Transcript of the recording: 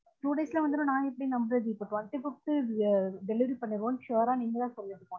two days ல வந்துரும் நான் எப்டி நம்புரது இப்ப twenty fifth delievery பண்ணிடுவொம்னு sure அ நீங்க தான் சொல்லனும்